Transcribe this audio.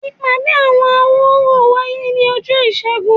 Ìpàdé àwọn awo orò wáyé ni ọjọ ìsẹ́gun